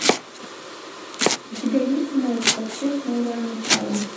у тебя есть ноев ковчег новое начало